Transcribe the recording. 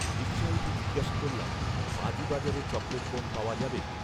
রিকশায় উঠে জিজ্ঞেস করলাম বাজি বাজারে চকলেট বোম পাওয়া যাবে